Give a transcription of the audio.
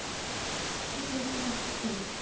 Kerfið brást þeim.